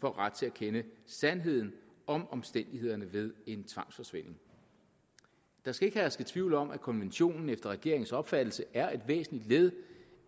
får ret til at kende sandheden om omstændighederne ved en tvangsforsvinding der skal ikke herske tvivl om at konventionen efter regeringens opfattelse er et væsentligt led